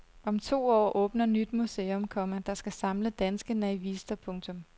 Om to år åbner nyt museum, komma der skal samle danske naivister. punktum